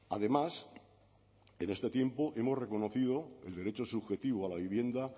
además en este tiempo hemos reconocido el derecho subjetivo a la vivienda